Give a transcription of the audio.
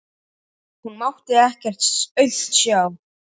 Hún mátti ekkert aumt sjá.